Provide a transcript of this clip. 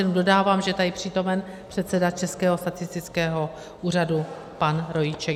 Jenom dodávám, že je tady přítomen předseda Českého statistického úřadu pan Rojíček.